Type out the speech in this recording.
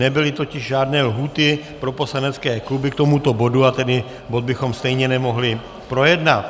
Nebyly totiž žádné lhůty pro poslanecké kluby k tomuto bodu, a tedy bod bychom stejně nemohli projednat.